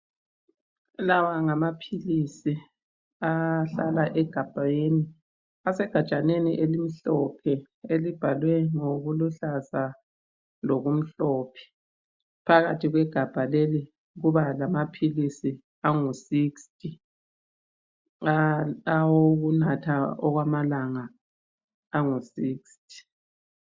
Lawa ngamaphilisi ahlala egabheni asegajaneni elimhlophe elibhalwe ngokuluhlaza lokumhlophe. Phakathi kwegabha leli kubalamaphilisi angu 60 awokunatha okwamalanga angu 60.